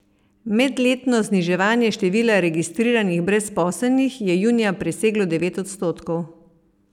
Medletno zniževanje števila registriranih brezposelnih je junija preseglo devet odstotkov.